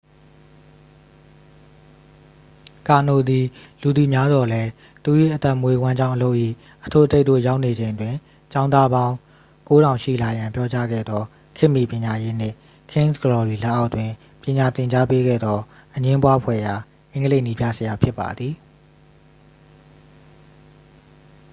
ကာနို သည် လူသိများသော်လည်း သူ၏အသက်မွေးဝမ်းကြောင်းအလုပ်၏ အထွတ်အထိပ်သို့ရောက်နေချိန်တွင် ကျောင်းသားပေါင်း 9000 ရှိလာရန် ပြောကြားခဲ့သော ခေတ်မီပညာရေးနှင့် king's glory လက်အောက်တွင် ပညာသင်ကြားပေးခဲ့သော အငြင်းပွားဖွယ်ရာ အင်္ဂလိပ်နည်းပြဆရာဖြစ်ပါသည်